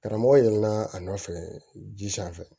Karamɔgɔ yɛlɛnna a nɔfɛ ji sanfɛ